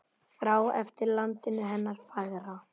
Þrá eftir landinu hennar fagra.